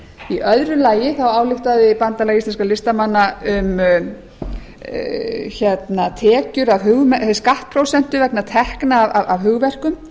í öðru lagi þá ályktaði bandalag íslenskra listamanna um tekjur af skattprósentu vegna tekna af hugverkum